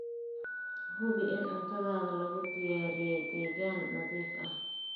Hubi in cuntada lagu diyaariyay deegaan nadiif ah.